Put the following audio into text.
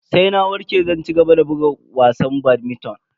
Sai na warke zan cigaba da buga wasan badminton.